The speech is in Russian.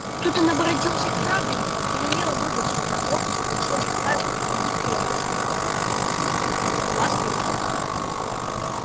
тут он оборотился к швабрину и велел выдать мне пропуск во все заставы и крепости подвластные ему